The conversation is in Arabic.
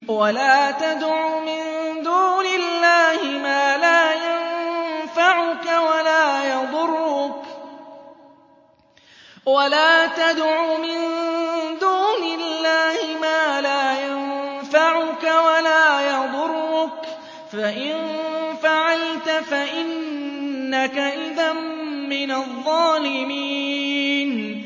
وَلَا تَدْعُ مِن دُونِ اللَّهِ مَا لَا يَنفَعُكَ وَلَا يَضُرُّكَ ۖ فَإِن فَعَلْتَ فَإِنَّكَ إِذًا مِّنَ الظَّالِمِينَ